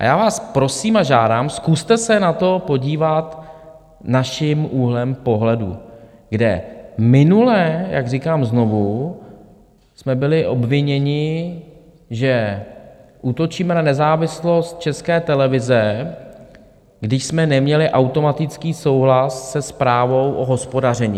A já vás prosím a žádám, zkuste se na to podívat naším úhlem pohledu, kde minule, jak říkám znovu, jsme byli obviněni, že útočíme na nezávislost České televize, když jsme neměli automatický souhlas se zprávou o hospodaření.